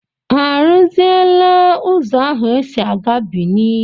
Ha arụziela ụzọ ahụ e si aga Bìní?